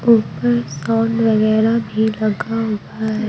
ऊपर साउंड वगैरह भी लगा हुआ है।